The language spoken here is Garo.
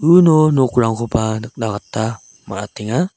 uno nokrangkoba nikna gita man·atenga.